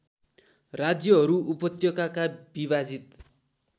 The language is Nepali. राज्यहरू उपत्यकाका विभाजित